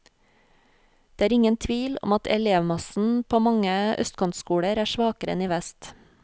Det er ingen tvil om at elevmassen på mange østkantskoler er svakere enn i vest.